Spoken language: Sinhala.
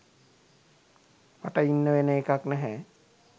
මට ඉන්න වෙන එකක් නැහැ.